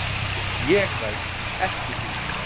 ÉG ræð EKKI þú.